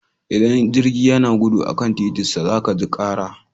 Idan jirgi yana gudu a kan titinsa za ka ji kara.